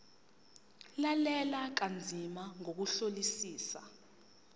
lalela kanzima ngokuhlolisisa